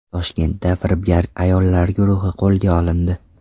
Toshkentda firibgar ayollar guruhi qo‘lga olindi.